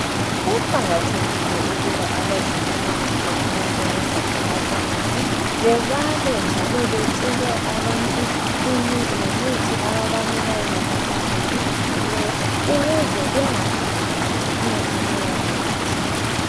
Kuqakathekile ukuba abezempilakahle abasebenza emapharmacy bebale njalo betshele abantu ngemithi ababanika yona ngendlela ejulileyo ukuze bengaphambanisi ukunatha leyo mithi